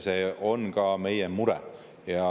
See on ka meie mure.